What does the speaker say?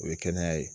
O ye kɛnɛya ye